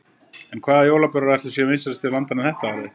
En hvaða jólabjórar ætli séu vinsælastir hjá landanum þetta árið?